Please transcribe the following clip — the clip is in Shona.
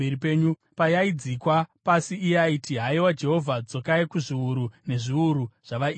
Payaigadzikwa pasi, iye aiti, “Haiwa Jehovha, dzokai kuzviuru nezviuru zvavaIsraeri.”